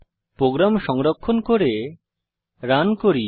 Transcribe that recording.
programme সংরক্ষণ করে run করি